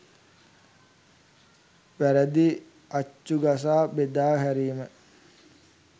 වැරදි අච්චු ගසා බෙදා හැරීම.